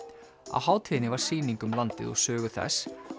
á hátíðinni var sýning um landið og sögu þess